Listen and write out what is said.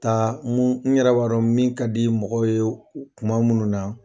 Taa mun n yɛrɛ b'a don min ka di ye mɔgɔ ye o kuma munnu na